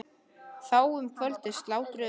Þá um kvöldið slátruðum við einu nauti.